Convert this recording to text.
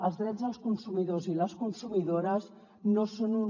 els drets dels consumidors i les consumidores no són un